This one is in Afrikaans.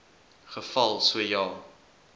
geval so ja